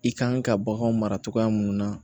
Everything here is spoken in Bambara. I kan ka bagan mara cogoya mun na